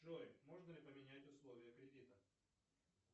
джой можно ли поменять условия кредита